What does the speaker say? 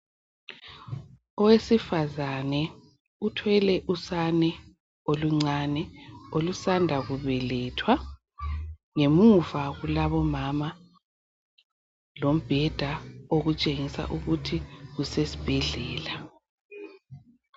Owesifazana uthwele usane oluncane olusanda kubelethwa ngemuva kulabomama lombheda okutshengisa ukuthi kusesibhedlela.